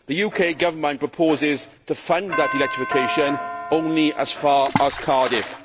The UK Government proposes to fund that electrification only as far as Cardiff.